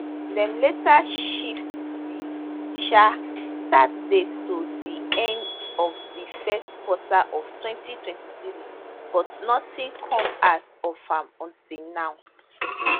dem later shift di um start date to di end of di first quarter of 2023 but nothing come out of am until now